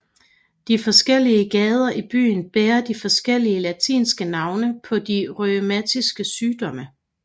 De forskellige gader i byen bærer de forskellige latinske navne på de rheumatiske sygdomme